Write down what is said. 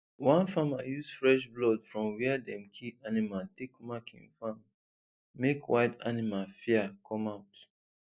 one farmer use fresh blood from where dem kill animal take mark him farm make wild animal fear come out